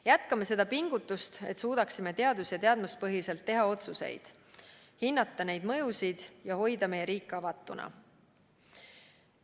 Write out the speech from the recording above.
Jätkame seda pingutust, et suudaksime otsuseid teha teadus- ja teadmuspõhiselt, hinnata neid mõjusid ja hoida meie riik avatuna.